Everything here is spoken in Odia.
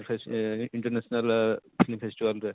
ଅଁ international ଆଃ festival ରେ